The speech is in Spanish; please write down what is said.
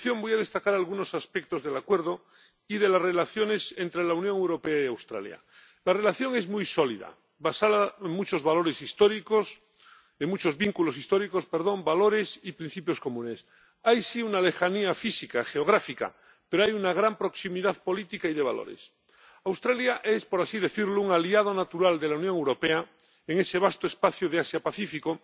A continuación, voy a destacar algunos aspectos del Acuerdo y de las relaciones entre la Unión Europea y Australia. La relación es muy sólida, basada en muchos vínculos históricos, valores y principios comunes. Hay, sí, una lejanía física, geográfica, pero hay una gran proximidad política y de valores. Australia es, por así decirlo, un aliado natural de la Unión Europea en ese vasto espacio Asia Pacífico,